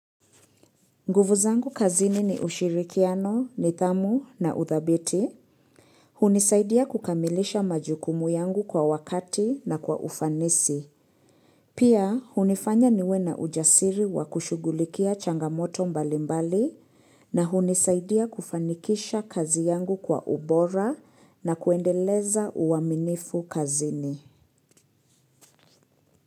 Nguvu zangu kazini ni ushirikiano, nidhamu na udhabiti. Hunisaidia kukamilisha majukumu yangu kwa wakati na kwa ufanisi. Pia, hunifanya niwe na ujasiri wa kushugulikia changamoto mbalimbali na hunisaidia kufanikisha kazi yangu kwa ubora na kuendeleza uaminifu kazini.